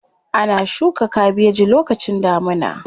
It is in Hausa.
Ana shuka kabeji lokacin damuna.